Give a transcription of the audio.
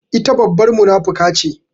Ita babbar munafuka ce.